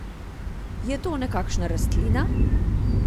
Je to nekakšna rastlina?